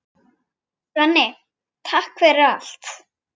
Svenni, takk fyrir allt.